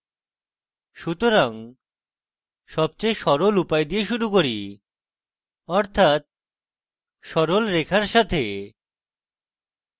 সুতরাং সবচেয়ে সরল উপায় দিয়ে শুরু করি অর্থাৎ সরল রেখা সাথে